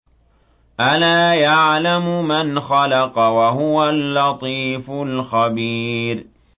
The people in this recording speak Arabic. أَلَا يَعْلَمُ مَنْ خَلَقَ وَهُوَ اللَّطِيفُ الْخَبِيرُ